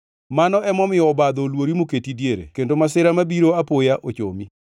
Mano emomiyo obadho oluori moketi diere kendo masira mabiro apoya ochomi.